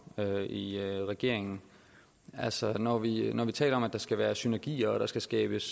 i regeringen altså når vi når vi taler om at der skal være synergi og at der skal skabes